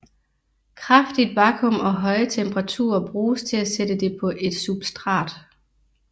Kraftigt vakuum og høje temperaturer bruges til at sætte det på et substrat